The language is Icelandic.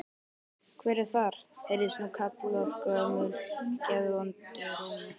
Hver er þar? heyrðist nú kallað gömlum geðvondum rómi.